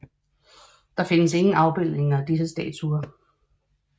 Der findes ingen afbildninger af disse statuer